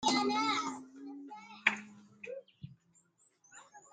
መዝገበ ታሪክ ትግርኛ ብትግርኛ ትብል መገረሚ ርእሲ ዘለዋ መፅሓፍ ትርአ ኣላ፡፡ ናይዛ መፅሓፍ ፀሓፊ ንምንታይ መዝገበ ታሪክ ትግርኛ ብትግርኛ ኢሉዋ ይኾን?